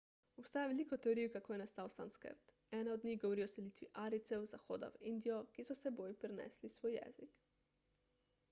obstaja veliko teorij kako je nastal sanskrt ena od njih govori o selitvi arijcev z zahoda v indijo ki so s seboj prinesli svoj jezik